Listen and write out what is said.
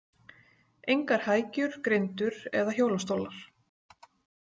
Engar hækjur, grindur eða hjólastólar.